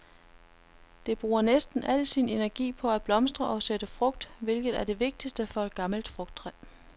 Det bruger næsten al sin energi på at blomstre og sætte frugt, hvilket er det vigtigste for et gammelt frugttræ.